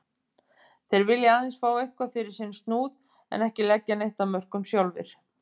Þeir vilja aðeins fá eitthvað fyrir sinn snúð en ekki leggja neitt af mörkum sjálfir.